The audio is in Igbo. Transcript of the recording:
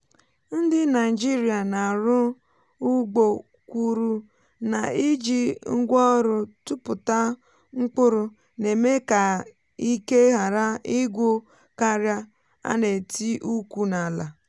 ndị naịjirịa na-arụ ugbo kwuru na iji ngwaọrụ tụpụta mkpụrụ na-eme ka ike ghara ịgwụ́ karị́á a na-etì ukwu n’ala.